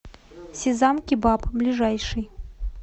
сезам кебаб ближайший